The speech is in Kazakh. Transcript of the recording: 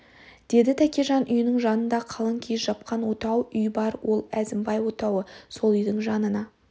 деді тәкежан үйінің жаныңда қалың киіз жапқан отау үй бар ол әзімбай отауы сол үйдің жанына